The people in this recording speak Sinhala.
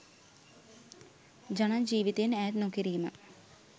ජන ජීවිතයෙන් ඈත් නොකිරීම